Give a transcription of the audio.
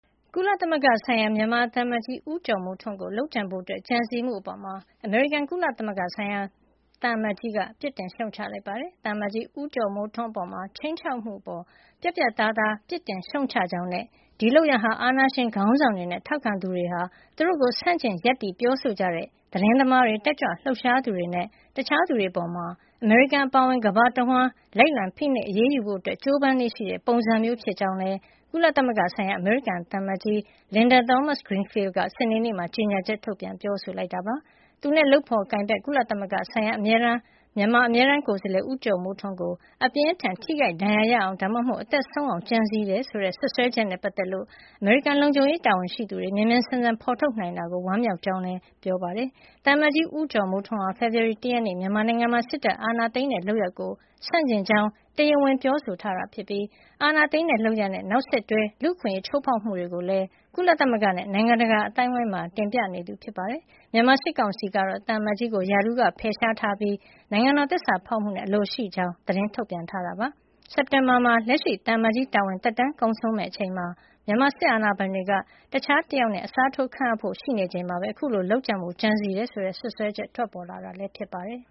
ကုလသမဂ္ဂဆိုင်ရာ မြန်မာသံအမတ်ကြီး ဦးကျော်မိုးထွန်းကို လုပ်ကြံဖို့ ကြံစည်မှုအပေါ် အမေရိကန် ကုလသမဂ္ဂဆိုင်ရာ သံအမတ်ကြီးက ပြစ်တင်ရှုတ်ချလိုက်ပါတယ်။ သံအမတ်ကြီး ဦးကျော်မိုးထွန်းအပေါ် ခြိမ်းခြောက်မှုအပေါ် ပြတ်ပြတ်သားသား ပြစ်တင်ရှုတ်ချကြောင်းနဲ့ ဒီလုပ်ရပ်ဟာ အာဏာရှင်ခေါင်းဆောင်တွေနဲ့ ထောက်ခံသူတွေဟာ သူတို့ကို ဆန့်ကျင်ရပ်တည် ပြောဆိုကြတဲ့ သတင်းသမားတွေ၊ တက်ကြွလှုပ်ရှားသူတွေနဲ့ တခြားသူတွေအပေါ် အမေရိကန် အပါအဝင် ကမ္ဘာတဝန်းလိုက်လံ ဖိနှိပ်အရေးယူဖို့ ကြိုးပမ်းလေ့ရှိတဲ့ ပုံစံမျိုးဖြစ်ကြောင်းလည်း ကုလသမဂ္ဂဆိုင်ရာ အမေရိကန်သံအမတ်ကြီး Linda Thomas-Greenfield က စနေနေ့မှာ ကြေညာချက် ထုတ်ပြန်ပြောဆိုလိုက်တာပါ။ သူနဲ့လုပ်ဖော်ကိုင်ဖက် ကုလသမဂ္ဂဆိုင်ရာ မြန်မာအမြဲတမ်းကိုယ်စားလှယ် ဦးကျော်မိုးထွန်းကို အပြင်းအထန် ထိခိုက်ဒဏ်ရာရအောင်၊ ဒါမှမဟုတ် အသက်ဆုံးရှုံးအောင် ကြံစည်နေတယ် ဆိုတဲ့ စွပ်စွဲချက်နဲ့ ပတ်သက်လို့ အမေရိကန် လုံခြုံရေး တာဝန်ရှိသူတွေ မြန်မြန်ဆန်ဆန် ဖော်ထုတ်နိုင်တဲ့အတွက် ဝမ်းမြောက်ကြောင်းလည်း အမေရိကန် သံအမတ်ကြီးက ပြောပါတယ်။ သံအမတ်ကြီး ဦးကျော်မိုးထွန်းဟာ ဖေဖော်ဝါရီလ ၁ ရက်နေ့ မြန်မာနိုင်ငံမှာ စစ်တပ်က အာဏာသိမ်းတဲ့လုပ်ရပ်ကို ဆန့်ကျင်ကြောင်း တရားဝင် ပြောဆိုထားပြီး အာဏာသိမ်းတဲ့ လုပ်ရပ်နဲ့ နောက်ဆက်တွဲ လူ့အခွင့်အရေး ချိုးဖောက်မှုတွေကိုလည်း ကုလသမဂ္ဂနဲ့ နိုင်ငံတကာ အသိုင်းအဝန်းမှာ တင်ပြနေသူ ဖြစ်ပါတယ်။ မြန်မာစစ်ကောင်စီ ကတော့ သံအမတ်ကြီးကို ရာထူးကဖယ်ရှားထားပြီး နိုင်ငံတော် သစ္စာဖောက်ဖျက်မှုနဲ့ အလိုရှိနေတဲ့အကြောင်း သတင်းထုတ်ပြန် ထားပါတယ်။ စက်တင်ဘာလမှာ လက်ရှိသံအမတ်ကြီး တာဝန်သက်တမ်း ကုန်ဆုံးမယ့်အချိန်မှာ မြန်မာစစ်အာဏာပိုင်တွေက တခြားတယောက်နဲ့ အစားထိုးခန့်အပ်ဖို့ ရှိနေချိန်မှာပဲ အခုလို လုပ်ကြံဖို့ ကြံစည်တယ်ဆိုတဲ့ စွပ်စွဲချက် ထွက်ပေါ်လာတာလည်း ဖြစ်ပါတယ်။